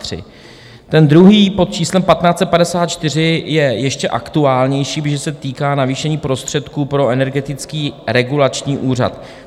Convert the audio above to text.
Ten druhý pod číslem 1554 je ještě aktuálnější, protože se týká navýšení prostředků pro Energetický regulační úřad.